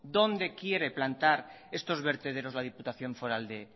dónde quiere plantar estos vertederos la diputación foral de